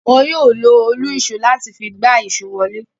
Wọn yóò lo òlu-ìsó láti fi gbá èso wọlé.